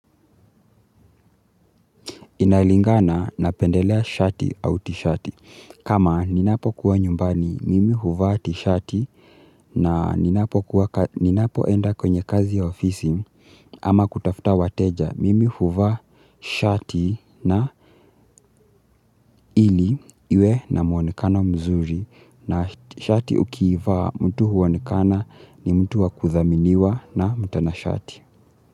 Inalingana napendelea shati au tishati. Kama ninapo kuwa nyumbani mimi huvaa tishati na ninapokuwa ninapo enda kwenye kazi ya ofisi ama kutafuta wateja mimi huvaa shati na ili iwe na muonekano mzuri na shati ukiivaa mtu huonekana ni mtu wakuthaminiwa na mtana shati.